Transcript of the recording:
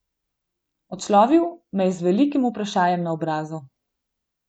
Odslovil me je z velikim vprašajem na obrazu.